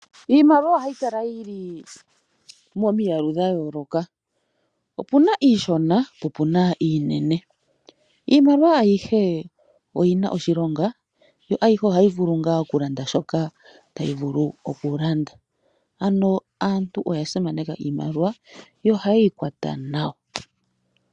Iimaliwa ohayi kala yili momiyalu dha yooloka opuna iishona opuna iinene. Iimaliwa ayihe oyina oshilonga yo ayihe ohayi vulu oku landa shoka tayi vulu oku landa. Ano aantu oya simaneka Iimaliwa yo oha yeyi kwata nawa.